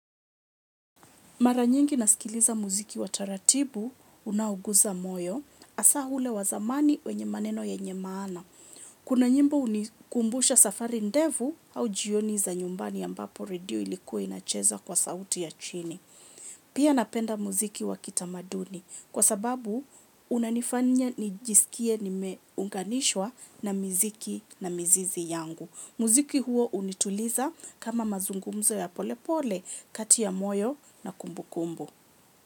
Mara nyingi nasikiliza muziki wa taratibu unao gusa moyo, hasa ule wa zamani wenye maneno yenye maana. Kuna nyimbo hunikumbusha safari ndefu au jioni za nyumbani ambapo redio ilikuwa inacheza kwa sauti ya chini. Pia napenda muziki wa kitamaduni kwa sababu unanifanya nijisikie nimeunganishwa na miziki na mizizi yangu. Muziki huo hunituliza kama mazungumzo ya polepole, kati ya moyo na kumbukumbu.